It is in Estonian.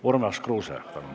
Urmas Kruuse, palun!